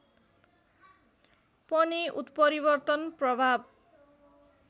पनि उत्परिवर्तन प्रभाव